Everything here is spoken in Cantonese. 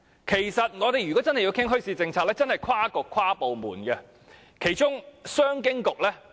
其實，要真正討論墟市政策，則要跨局及跨部門進行。